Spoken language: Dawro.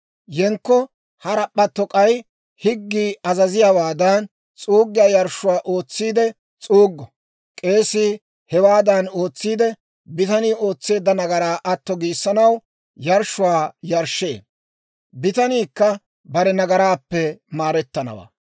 Yenkko harap'p'atto k'ay higgii azaziyaawaadan, s'uuggiyaa yarshshuwaa ootsiide s'uuggo. K'eesii hewaadan ootsiide, bitanii ootseedda nagaraa atto giissanaw yarshshuwaa yarshshee; bitaniikka bare nagaraappe maarettanawaa.